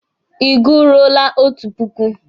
Ị gụruole otu puku?